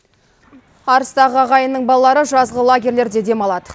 арыстағы ағайынның балалары жазғы лагерьлерде демалады